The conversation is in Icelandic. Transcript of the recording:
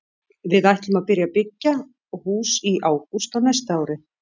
Við ætlum að byrja að byggja í hús í ágúst á næsta ári.